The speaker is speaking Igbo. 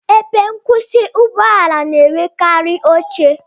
Ebe nkwusi Ụgbọ ala na-enwekarị oche